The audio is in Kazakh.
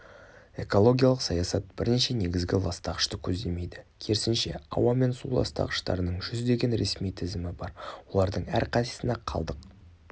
экологиялық саясат бірнеше негізгі ластағышты көздемейді керісінше ауа мен су ластағыштарының жүздеген ресми тізімі бар олардың әрқайсысына қалдық